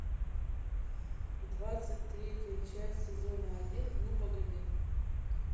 двадцать третья часть сезона один ну погоди